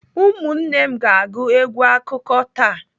Ụmụnne na m ga-agụ egwu akụkọ taa.